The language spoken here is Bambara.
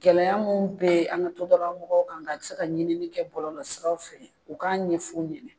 Gɛlɛya mun be an ka soda mɔgɔw kan a bi se ka ɲini kɛ bɔlɔlɔ siraw fɛ u k'a ɲɛf'u ɲɛna